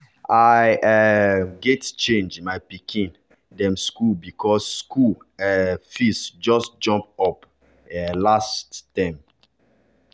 i um gats change my pikin pikin dem school because school um fees just jump up um last term.